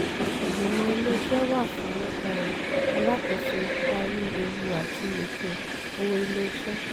ìgbìmọ̀ ilé-iṣẹ́ wà fún um alákòóso darí ewu àti ètò owó ilé-iṣẹ́. um